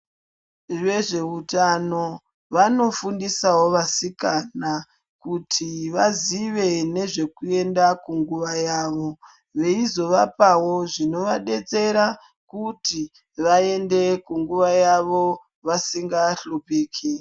Vezveutano vanofundisawo vasikana kuti vazive nezvekuenda kunguva yavo, veizovapawo zvinovadetsera kuti vaende kunguva yavo vasingahluphiki.